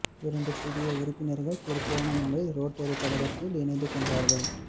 இரண்டு புதிய உறுப்பினர்கள் திருகோணமலை ரோட்டரி கழகத் தில் இணைந்து கொண்டார்கள்